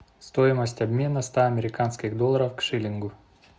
стоимость обмена ста американских долларов к шиллингу